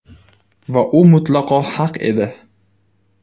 Va u mutlaqo haq edi.